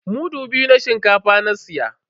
Mudu biyu na shinkafa na siya.